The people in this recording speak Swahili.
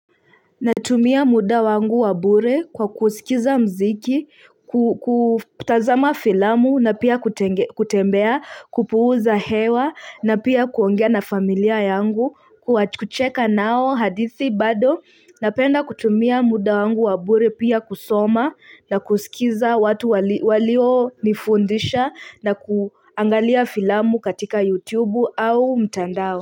Natumia muda wangu wa bure kwa kuskiza mziki, kutazama filamu na pia kutenge kutembea kupuuza hewa na pia kuongea na familia yangu, kucheka nao hadithi bado, napenda kutumia muda wangu wa bure pia kusoma na kuskiza watu walio nifundisha na kuangalia filamu katika YouTube au mtandao.